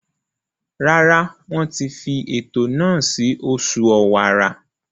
Rárá, Wọ́n ti fi ètò náà sí oṣù ọ̀wàrà.